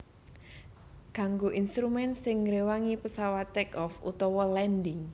Kanggo instrumen sing ngréwangi pesawat take off utawa landing